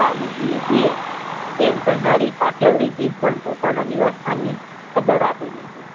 રાવું પીએ છીએ એમ કેહનારી કાઠિયાવાડી જીભ પણ પોતાના નિવાસ સ્થાનની ખબર આપી દે છે.